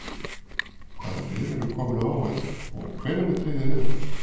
Hvaða lið eru komin á EM og hvenær er dregið í riðla?